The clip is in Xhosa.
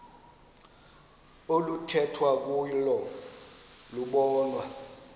oluthethwa kuyo lobonwa